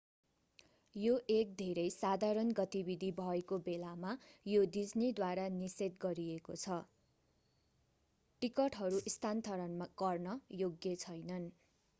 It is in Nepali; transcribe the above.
यो एक धेरै साधारण गतिविधि भएको बेलामा यो डिज्नीद्वारा निषेध गरिएको छ टिकटहरू स्थानान्तरण गर्न योग्य छैनन्